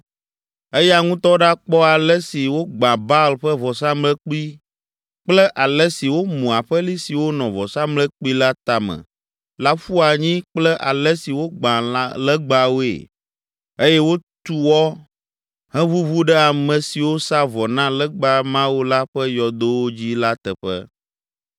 Eya ŋutɔ ɖakpɔ ale si wogbã Baal ƒe vɔsamlekpui kple ale si womu aƒeli siwo nɔ vɔsamlekpui la tame la ƒu anyi kple ale si wogbã legbawoe eye wotu wɔ heʋuʋu ɖe ame siwo sa vɔ na legba mawo la ƒe yɔdowo dzi la teƒe.